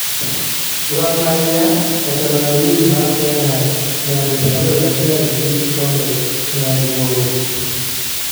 Gor mahia oseloyo lig mar Kenya nya di 21 gi kikombe nya di boro